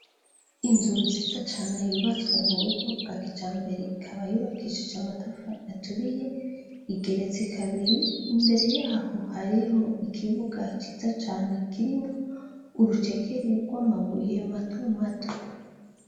Inzu nziza cane yubatswe mu buryo bwa kijambere ikaba yubakishijwe amatafari aturiye, igeretse kabiri imbere yaho hariho ikibuga ciza cane kirimwo urucekeri rw'amabuye matomato.